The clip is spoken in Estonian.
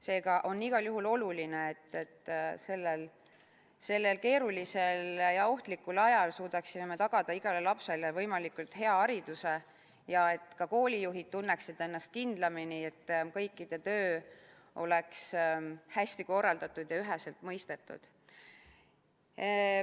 Seega on igal juhul oluline, et sellel keerulisel ja ohtlikul ajal me suudaksime tagada igale lapsele võimalikult hea hariduse, ja et ka koolijuhid tunneksid ennast kindlamini, et kõikide töö oleks hästi korraldatud ja üheselt mõistetud.